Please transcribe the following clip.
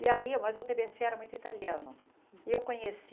E aí, mas o TBC era muito italiano, e eu conheci...